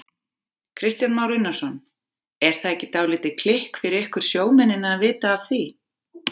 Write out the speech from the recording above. Kristján Már Unnarsson: Er það ekki dálítið kikk fyrir ykkur sjómennina að vita af því?